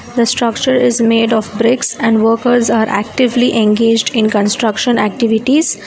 The structure is made of bricks and workers are actively engaged in construction activities.